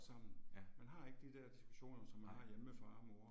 Ja. Nej